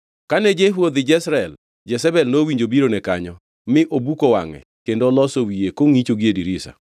Kane Jehu odhi Jezreel, Jezebel nowinjo birone kanyo, mi obuko wangʼe kendo oloso wiye kongʼicho gie dirisa.